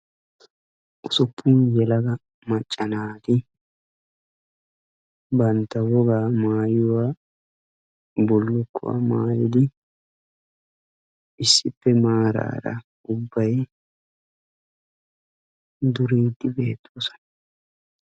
ussuppun yelega macca naati bantta wogaa maayuwaa bulukkuwa maayyida issippe maarara duridde beettoosona